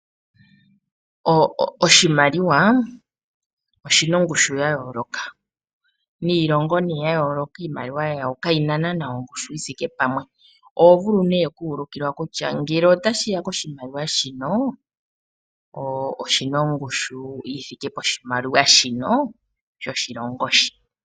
Oshimaliwa oshi na ongushu ya yooloka niilongo ya yooloka iimaliwa yawo kayi na ongushu yi thike pamwe. Oho vulu ihe oku ulukilwa kutya ngele otashi ya koshimaliwa shino oshi na ongushu yi thike poshimaliwa shino shoshilongo shika.